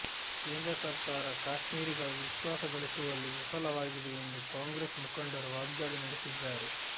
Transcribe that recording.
ಕೇಂದ್ರ ಸರಕಾರ ಕಾಶ್ಮಿರಿಗಳ ವಿಶ್ವಾಸಗಳಿಸುವಲ್ಲಿ ವಿಫಲವಾಗಿದೆ ಎಂದು ಕಾಂಗ್ರೆಸ್ ಮುಖಂಡರು ವಾಗ್ದಾಳಿ ನಡೆಸಿದ್ದಾರೆ